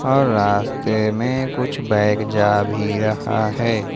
और रास्ते में कुछ बैग जा भी रहा है।